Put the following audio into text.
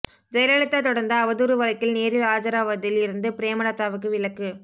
ஜெயலலிதா தொடர்ந்த அவதூறு வழக்கில் நேரில் ஆஜராவதில் இருந்து பிரேமலதாவுக்கு விலக்கு